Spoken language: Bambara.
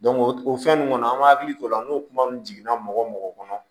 o fɛn nunu kɔnɔ an m'an hakili t'o la n'o kuma nunnu jiginna mɔgɔ mɔgɔ kɔnɔ